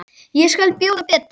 Ég skal bjóða betur.